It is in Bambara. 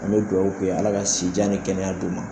An bɛ dugawu kɛ Ala ka sijan ni kɛnɛya d'u ma.